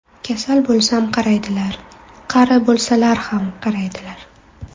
Kasal bo‘lsam, qaraydilar qari bo‘lsalar ham qaraydilar.